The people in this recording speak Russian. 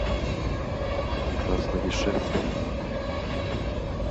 красновишерском